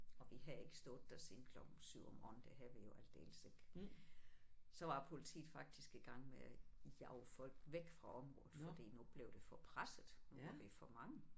Og vi havde ikke stået der siden klokken 7 om morgenen det havde vi jo aldeles ikke. Så var politiet faktisk i gang med at jage folk væk fra området fordi nu blev det for presset nu var vi for mange